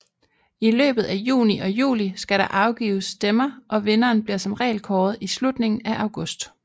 I løbet af juni og juli skal der afgives stemmer og vinderen bliver som regel kåret i slutningen af august